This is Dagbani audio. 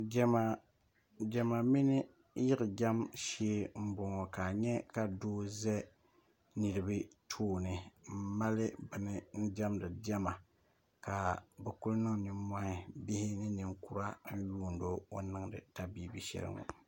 Diɛma mini yiɣi jam shee m-bɔŋɔ ka a nya ka doo za niriba tooni m-mali bini n-diɛmdi diɛma ka bɛ kuli niŋ nimmɔhi bihi ni niŋkura n-yuuni o o ni niŋdi tabibi shɛli ŋɔ